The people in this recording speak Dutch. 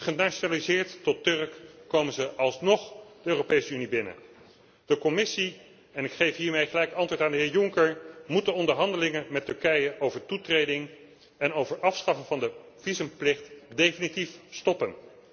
Syrië. Genationaliseerd tot Turk komen ze alsnog de Europese Unie binnen. De Commissie en ik geef hiermee gelijk antwoord aan de heer Juncker moet de onderhandelingen met Turkije over toetreding en over het afschaffen van de visumplicht definitief stoppen.